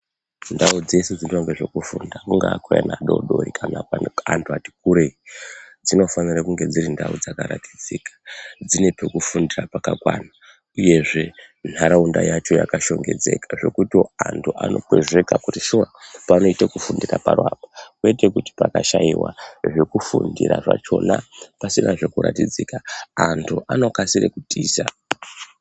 Ndau dzese dzinoitwa nezvekufunda kungaa kweana adodori kana antu ati kurei dzinofanira kunge dziri ndau dzakaratidzika dzine pekufundira pakakwana uyezve nharaunda yacho yakashongedzeka zvekuti antu anokwezveka kuti shuwa panoite kufundira paro apa kwete zvekuti pakashaiwa zvekufundira zvachona pasinazve kuratidzika antu anokasire kutiza.